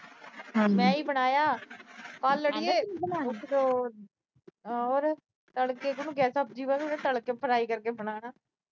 ਮੈਂ ਈ ਬਣਾਇਆ। ਕੱਲ੍ਹ ਅੜੀਏ। ਹੋਰ ਅਹ ਹੋਰ। ਤੱਲ ਕੇ ਉਹਨੂੰ ਸਬਜੀ ਵਾਂਗ ਤੱਲ ਕੇ fry ਕਰਕੇ ਬਣਾਇਆ।